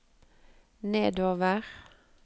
nedover